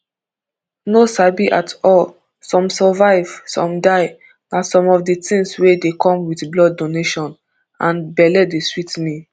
no sabi at all some survive some die na some of di tins wey dey come wit blood donation and belle dey sweet me